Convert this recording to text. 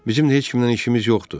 Bizim də heç kimdən işimiz yoxdur.